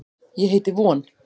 Ég heiti von.